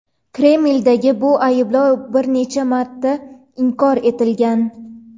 Kremlda bu ayblov bir necha marta inkor etilgan.